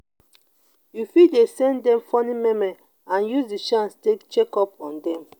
you fit dey send them funny meme and use the chance take check up on them